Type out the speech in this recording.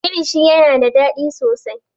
kilishi yana da daɗi sosai